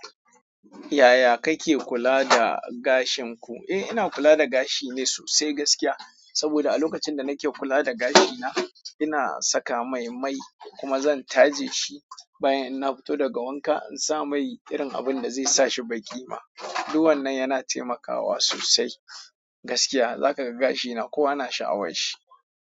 Yaya kake kula da gashin ku? Eh ina kula da gashi ne sosai gaskiya. Saboda a lokacin da nake kula da gashina, ina saka mai mai kuma zan taje shi. Bayan in na fito daga wanka, insa mai irin abun da zai sa shi baƙi ba. Dun wannan yana taimakawa sosai gaskiya. Za kaga gashina kowa yana sha'awar shi.